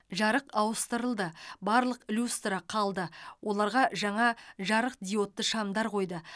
жарық ауыстырылды барлық люстра қалды оларға жаңа жарықдиодты шамдар қойды